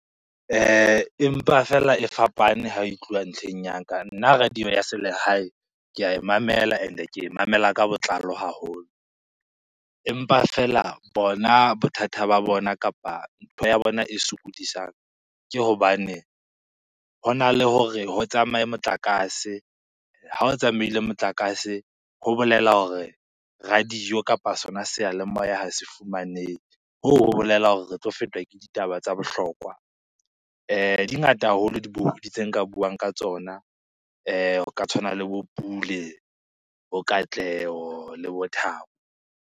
Empa fela e fapane ha e tluwa ntlheng ya ka. Nna radio ya selehae, ke ae mamela and-e ke e mamela ka botlalo haholo. Empa fela bona bothata ba bona kapa ntho ya bona e sokodisang ke hobane hona le hore ho tsamaye motlakase, ha o tsamaile motlakase ho bolela hore radio kapa sona seyalemoya ha se fumanehe. Hoo ho bolela hore re tlo fetwa ke ditaba tsa bohlokwa. Di ngata haholo dibohodi tse nka buang ka tsona ho ka tshwana le bo Pule, bo Katleho le bo Thabo.